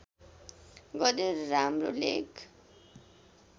गरेर राम्रो लेख